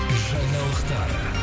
жаңалықтар